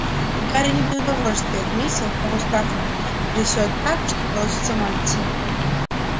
и гарри не без удовольствия отметил того страха трясёт так что колотится мантия